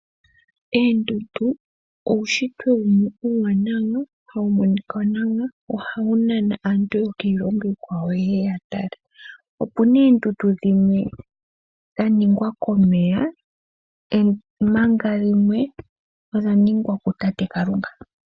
Oondundu uushitwe uuwanawa wo ohawu nana aantu yokiilongo iikwawo yeye ya tale. Oondundu dhimwe odha ningwa komeya ompanga dhimwe odha ningwa kutate Kalunga.